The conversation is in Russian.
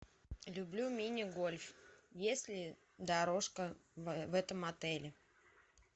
люблю мини гольф есть ли дорожка в этом отеле